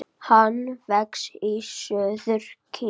Hann vex í suður Kína.